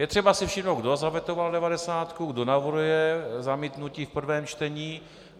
Je třeba si všimnout, kdo zavetoval devadesátku, kdo navrhuje zamítnutí v prvém čtení.